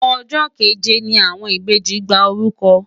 Ọjọ́ keje ni àwọn ìbejì gba orúkọ.